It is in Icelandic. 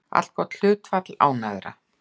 Allgott hlutfall ánægðra